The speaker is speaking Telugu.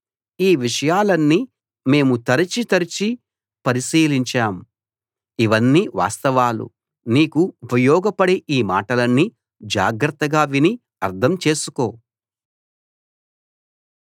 ఈ విషయాలన్నీ మేము తరచి తరచి పరిశీలించాం ఇవన్నీ వాస్తవాలు నీకు ఉపయోగపడే ఈ మాటలన్నీ జాగ్రత్తగా విని అర్థం చేసుకో